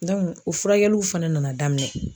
o furakɛliw fɛnɛ nana daminɛ.